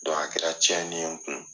a kɛra tiɲɛni ye n kun.